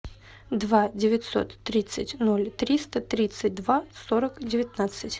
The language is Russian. два девятьсот тридцать ноль триста тридцать два сорок девятнадцать